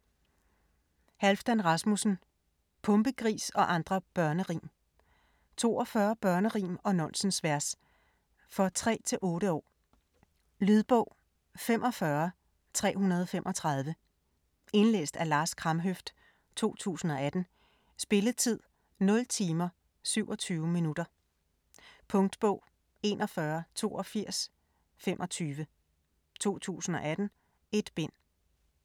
Rasmussen, Halfdan: Pumpegris og andre børnerim 42 børnerim og nonsensvers. For 3-8 år. Lydbog 45335 Indlæst af Lars Kramhøft, 2018. Spilletid: 0 timer, 27 minutter. Punktbog 418225 2018. 1 bind.